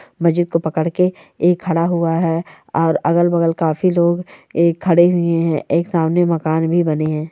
मस्जिद को पकड़ के ये खड़ा हुआ है और अगल बगल काफी लोग खड़े हुए है एक सामने मकान भी बने है।